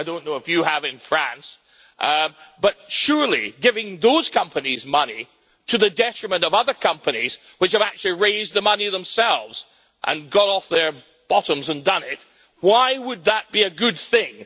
I don't know if you have in France. But surely giving those companies money, to the detriment of other companies which have actually raised the money themselves and got off their bottoms and done it, why would that be a good thing?